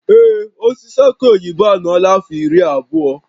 Ee, osisi aki oyibo a anọọla afọ iri abụọ